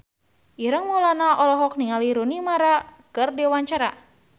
Ireng Maulana olohok ningali Rooney Mara keur diwawancara